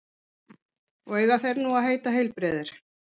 Og eiga þeir nú að heita heilbrigðir